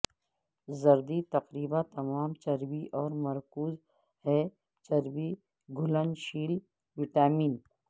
زردی تقریبا تمام چربی اور مرکوز ہے چربی گھلنشیل وٹامن